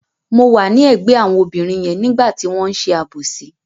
Mo wà ní ẹ̀gbẹ́ àwọn obìnrin yẹn nígbà tí wọ́n ṣe àbòsí.